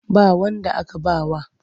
Ba wanda aka ba wa.